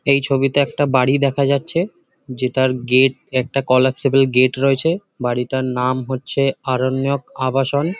এই ছবিতে একটা বাড়ি দেখা যাচ্ছে যেটার গেট একটা কোলাপ্সিবল গেট রয়েছে বাড়িটার নাম হচ্ছে আরণ্যক আবাসন ।